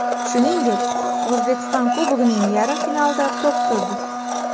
Shuningdek, O‘zbekiston Kubogining yarim finalida to‘p surdi.